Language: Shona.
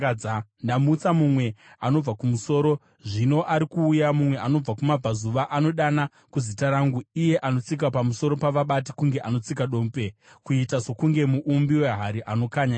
“Ndamutsa mumwe anobva kumusoro, zvino ari kuuya, mumwe anobva kumabvazuva anodana kuzita rangu. Iye anotsika pamusoro pavabati kunge anotsika dope, kuita sokunge muumbi wehari anokanya ivhu.